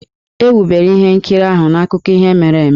E wubere ihe nkiriahụ n'akụkọ ihe mere eme.